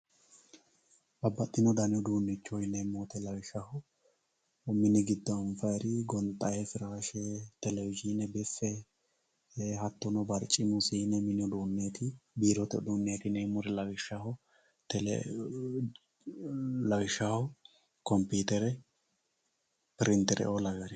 Babbaxxino dani uduunnicho yineemmo woyiite lawishshaho mini giddo anfayiiro gonxayii firaashe telewizhiine biffe hattono barcimu siine mini uduunneeti biirote uduunnichooti yineemmohu lawishshaho kompiitere pirintere"oo lawewoori.